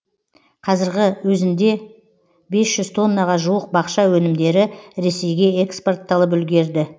қазіргі өзінде бес жүз тоннаға жуық бақша өнімдері ресейге экспортталып үлгерді